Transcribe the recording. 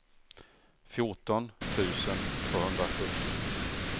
fjorton tusen tvåhundrasjuttio